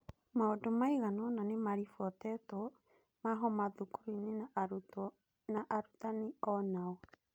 Maũndũ maigana-ona nĩ maribotetwo ma homa thukuru-inĩ na arutwo na arutani o-nao.